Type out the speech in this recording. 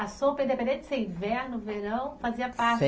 A sopa, independente de ser inverno, verão, fazia parte.